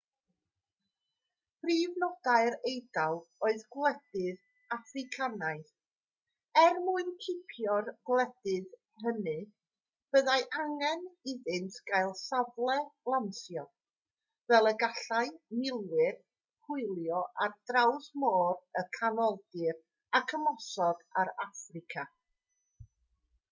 prif nodau'r eidal oedd gwledydd affricanaidd er mwyn cipio'r gwledydd hynny byddai angen iddynt gael safle lansio fel y gallai milwyr hwylio ar draws môr y canoldir ac ymosod ar affrica